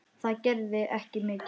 Það gerði ekki mikið til.